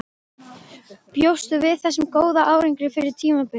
Bjóstu við þessum góða árangri fyrir tímabilið?